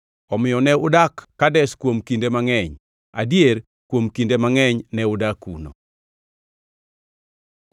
Omiyo ne udak Kadesh kuom kinde mangʼeny, adier kuom kinde mangʼeny ne udak kuno.